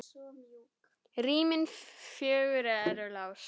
Rýmin fjögur eru laus.